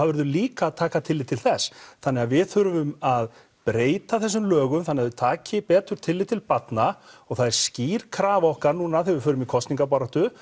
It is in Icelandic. verður líka að taka tillit til þess þannig að við þurfum að breyta þessum lögum þannig að þau taki betur tillit til barna og það er skýr krafa okkar núna þegar við förum í kosningabaráttu